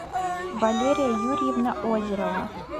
валерия юрьевна озерова